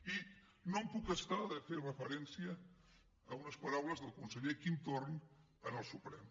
i no em puc estar de fer referència a unes paraules del conseller quim forn en el suprem